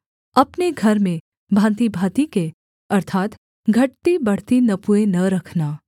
अपने घर में भाँतिभाँति के अर्थात् घटतीबढ़ती नपुए न रखना